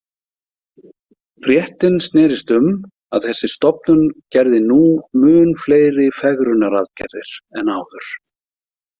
Fréttin snerist um að þessi stofnun gerði nú mun fleiri fegrunaraðgerðir en áður.